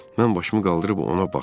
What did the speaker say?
Mən başımı qaldırıb ona baxdım.